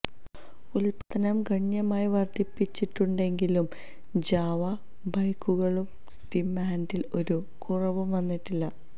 ഉത്പാദനം ഗണ്യമായി വർധിപ്പിച്ചിട്ടുണ്ടെങ്കിലും ജാവ ബൈക്കുകളുടെ ഡിമാന്ഡിന് ഒരു കുറവും വന്നിട്ടില്ല